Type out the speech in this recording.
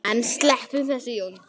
En sleppum þessu!